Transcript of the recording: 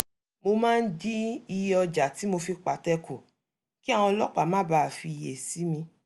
mo máa ń dín iye ọjà tí mo fi pàtẹ kù kí àwọn ọlọ́pàá má bàa fiyè sí mi